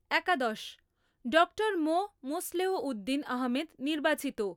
একাদশ । ডক্টর মো মোসলেহ উদ্দিন আহমেদ নির্বাচিত